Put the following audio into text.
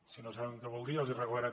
si no saben què vol dir ja els regalaré